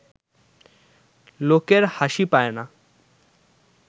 লোকের হাসি পায় না